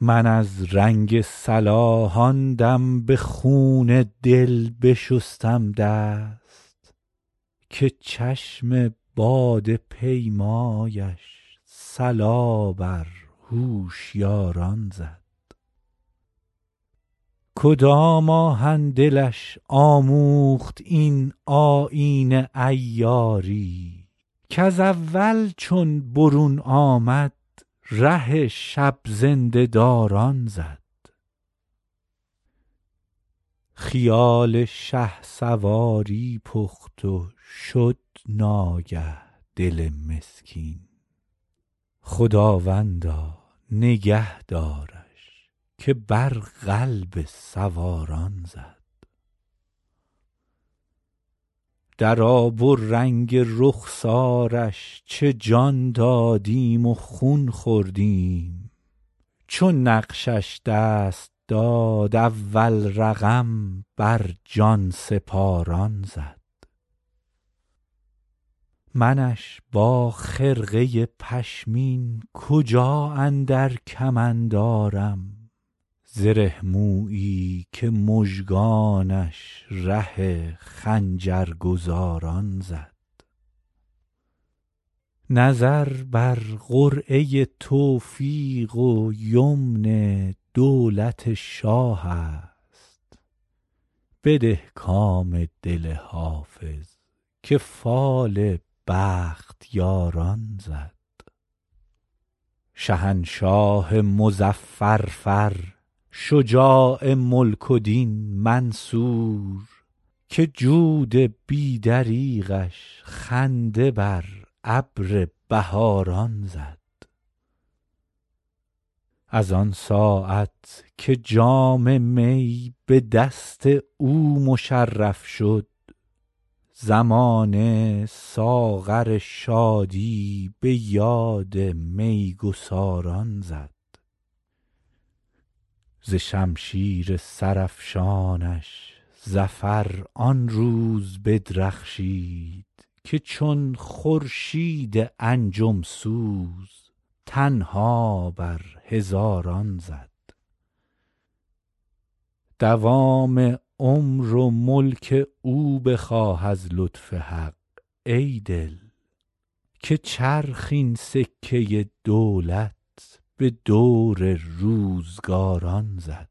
من از رنگ صلاح آن دم به خون دل بشستم دست که چشم باده پیمایش صلا بر هوشیاران زد کدام آهن دلش آموخت این آیین عیاری کز اول چون برون آمد ره شب زنده داران زد خیال شهسواری پخت و شد ناگه دل مسکین خداوندا نگه دارش که بر قلب سواران زد در آب و رنگ رخسارش چه جان دادیم و خون خوردیم چو نقشش دست داد اول رقم بر جان سپاران زد منش با خرقه پشمین کجا اندر کمند آرم زره مویی که مژگانش ره خنجرگزاران زد نظر بر قرعه توفیق و یمن دولت شاه است بده کام دل حافظ که فال بختیاران زد شهنشاه مظفر فر شجاع ملک و دین منصور که جود بی دریغش خنده بر ابر بهاران زد از آن ساعت که جام می به دست او مشرف شد زمانه ساغر شادی به یاد می گساران زد ز شمشیر سرافشانش ظفر آن روز بدرخشید که چون خورشید انجم سوز تنها بر هزاران زد دوام عمر و ملک او بخواه از لطف حق ای دل که چرخ این سکه دولت به دور روزگاران زد